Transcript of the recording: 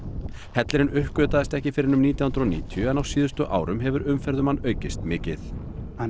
hellirinn uppgötvaðist ekki fyrr en um nítján hundruð og níutíu en á síðustu árum hefur umferð um hann aukist mikið hann